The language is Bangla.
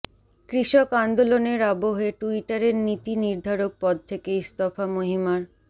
কৃষক আন্দোলনের আবহে টুইটারের নীতি নির্ধারক পদ থেকে ইস্তফা মহিমার